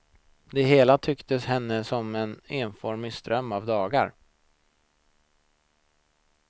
Det hela tycktes henne som en enformig ström av dagar.